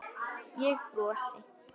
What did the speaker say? Ég brosi.